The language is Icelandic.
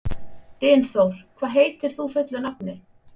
Dynþór, hvað heitir þú fullu nafni?